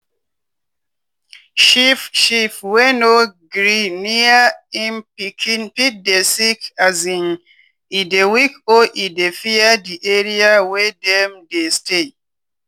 sheep sheep wey no gree near im pikin fit dey sick um e dey weak or e dey fear di area wey dem dey stay.